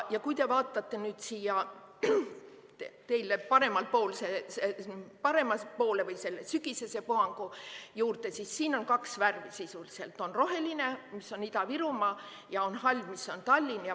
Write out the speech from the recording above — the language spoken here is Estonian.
Ja kui te vaatate nüüd siia teie suhtes paremale poole ehk sügisese puhangu peale, siis siin on kaks värvi: on roheline, mis on Ida-Virumaa, ja on hall, mis on Tallinn.